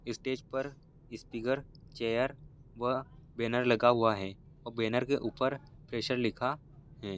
इस स्टेज पर speaker chair व बेनर लगा हुआ है और बेनर के ऊपर फ्रेशर लिखा है।